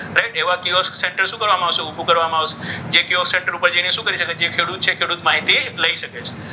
right એવા એવા centre શું કરવામાં? સેન્ટર ઊભું કરવામાં આવશે. એવા સેન્ટર ઉપર જઈને શું કરી શકાય? કે જે ખેડૂત છે એ ખેડૂત માહિતી લઈ શકે છે.